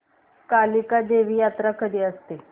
कालिका देवी यात्रा कधी असते